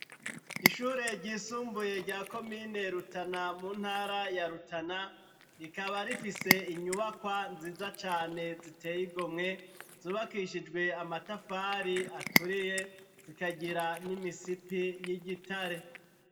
Ishure ryisumbuye rya komine Rutana mu ntara ya Rutana, rikaba rifise inyubakwa nziza cane zitey'igomwe, zubakishijwe amatafari aturiye zikagira n'imisipi y'igitare.